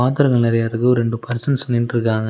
பாத்தரங்கள் நறையா இருக்கு ஒர் ரெண்டு பர்சன்ஸ் நின்னுட்ருக்காங்க.